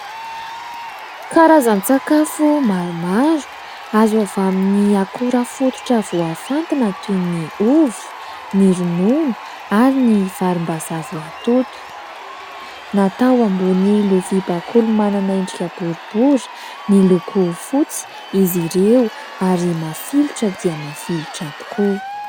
Karazan-tsakafo maromaro azo avy amin'ny akora fototra voafantina toy ny ovy, ny ronono ary ny varim-bazaha voatoto, natao ambony lovia bakoly manana endrika boribory miloko fotsy izy ireo ary mafilotra dia mafilotra tokoa.